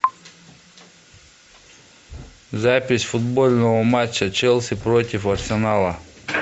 запись футбольного матча челси против арсенала